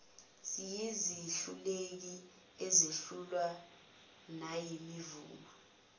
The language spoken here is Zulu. siyizehluleki sehlulwa nayimvuma